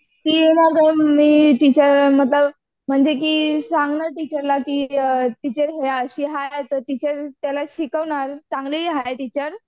म्हणजे की सांगणार टिचरला ती टीचर हे अशी हाय, तर टीचर त्याला शिकवणार चांगली हाय टीचर.